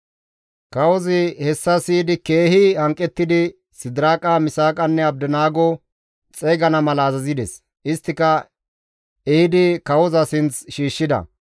Kawozi hessa siyidi keehi hanqettidi Sidiraaqa, Misaaqanne Abdinaago xeygana mala azazides; isttika ehidi kawoza sinth shiishshida.